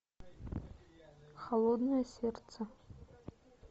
холодное сердце